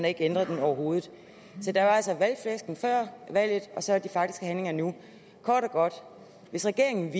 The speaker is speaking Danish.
ikke ændret den overhovedet så der var altså valgflæsket før valget og så de faktiske handlinger nu kort og godt hvis regeringen